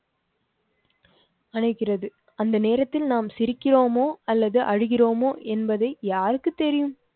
அணைக்கிறது. அந்த நேரத்தில் நாம் சிரிக்கிறோம்மோ அல்லது அழுகிறோமோ என்பதை யாருக்கு தெரியும்.